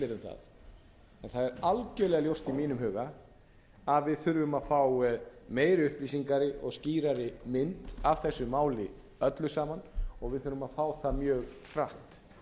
en það er algjörlega ljóst í mínum huga að við þurfum að fá meiri upplýsingar og skýrari mynd af þessu máli öllu saman og við þurfum að fá það mjög hratt